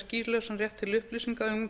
skýlausan rétt til upplýsinga um